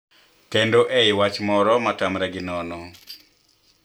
Kendo e I wach moro ma tamre gi nono